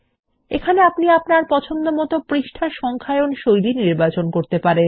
এখানে আপনি আপনার পছন্দমতন পৃষ্ঠার সংখ্যায়ন শৈলী নির্বাচন করতে পারবেন